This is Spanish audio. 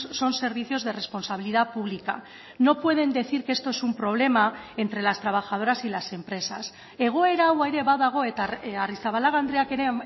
son servicios de responsabilidad pública no pueden decir que esto es un problema entre las trabajadoras y las empresas egoera hau ere badago eta arrizabalaga andreak ere